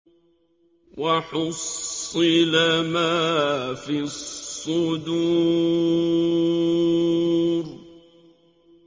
وَحُصِّلَ مَا فِي الصُّدُورِ